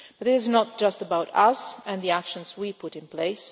facing. But is not just about us and the actions we put in